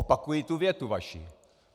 Opakuji tu větu vaši.